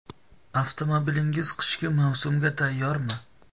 Avtomobilingiz qishki mavsumga tayyormi?.